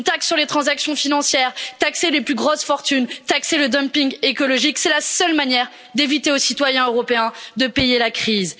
Une taxe sur les transactions financières, la taxation des plus grosses fortunes ou du dumping écologique, c'est la seule manière d'éviter aux citoyens européens de payer la crise.